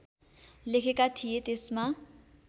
लेखेका थिए त्यसमा